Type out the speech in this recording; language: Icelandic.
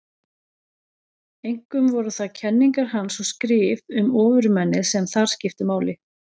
Einkum voru það kenningar hans og skrif um ofurmennið sem þar skiptu máli.